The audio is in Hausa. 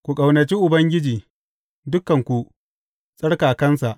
Ku ƙaunaci Ubangiji, dukanku tsarkakansa!